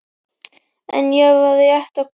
En ég var rétt að koma.